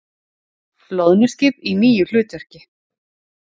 Loðnuskip í nýju hlutverki